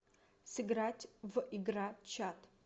сыграть в игра чат